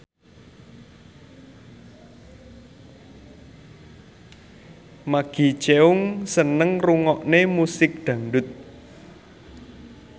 Maggie Cheung seneng ngrungokne musik dangdut